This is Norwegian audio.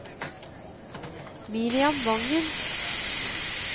Miriam Wangen